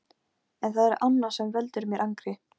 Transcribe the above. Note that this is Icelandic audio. En það er annað sem veldur mér angri.